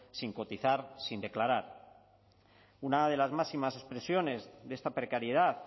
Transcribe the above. sin cotizar sin declarar una de las máximas expresiones de esta precariedad